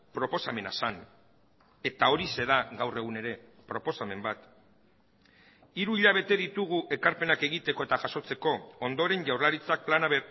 proposamena zen eta horixe da gaur egun ere proposamen bat hiru hilabete ditugu ekarpenak egiteko eta jasotzeko ondoren jaurlaritzak plana